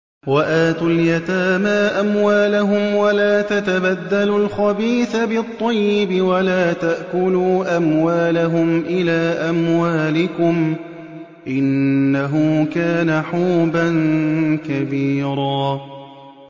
وَآتُوا الْيَتَامَىٰ أَمْوَالَهُمْ ۖ وَلَا تَتَبَدَّلُوا الْخَبِيثَ بِالطَّيِّبِ ۖ وَلَا تَأْكُلُوا أَمْوَالَهُمْ إِلَىٰ أَمْوَالِكُمْ ۚ إِنَّهُ كَانَ حُوبًا كَبِيرًا